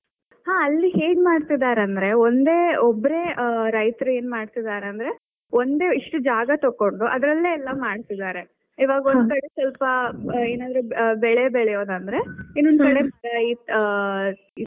ಹಾ ಅಲ್ಲಿ ಹೇಗ್ ಮಾಡ್ತಿದ್ದಾರೆ ಅಂದ್ರೆ ಒಂದೇ ಒಬ್ಬರೇ ಆ ರೈತರು ಏನ್ ಮಾಡ್ತಿದ್ದಾರೆ ಅಂದ್ರೆ ಒಂದಿಷ್ಟು ಜಾಗ ತಕ್ಕೊಂಡು ಅದ್ರಲ್ಲೇ ಎಲ್ಲಾ ಮಾಡ್ತಿದ್ದಾರೆ. ಒಂದು ಕಡೆ ಸ್ವಲ್ಪ ಏನಾದ್ರೂ ಬೆಳೆ ಬೆಳೆಯುದಂದ್ರೆ ಇನ್ನೊಂದು ಕಡೆ ಈ ಆ.